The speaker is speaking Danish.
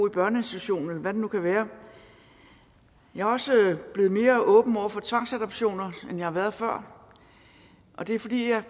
i børneinstitutionen eller hvad det nu kan være jeg er også blevet mere åben over for tvangsadoptioner end jeg har været før og det er fordi jeg